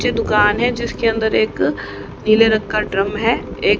दुकान है जिसके अंदर एक नीले रंग का ड्रम है ए--